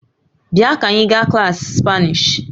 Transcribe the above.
Bịa ka anyị gaa klaasị spanish